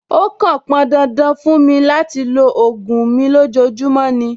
Ó kàn pọn dandan fún mi láti lo ògùn mi lójoojúmọ́ ni.